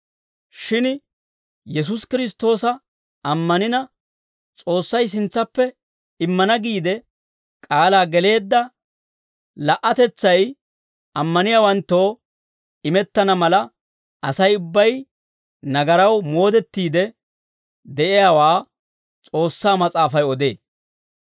Shin Yesuusi Kiristtoosa ammanina, S'oossay sintsappe immana giide k'aalaa geleedda la"atetsay, ammaniyaawanttoo imettana mala, Asay ubbay nagaraw moodettiide de'iyaawaa, S'oossaa Mas'aafay odee.